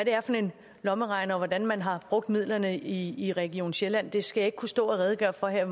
er for en lommeregner og hvordan man har brugt midlerne i i region sjælland skal jeg ikke kunne stå og redegøre for her